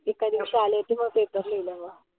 एका दिवशी आली होती म paper लिहिले म.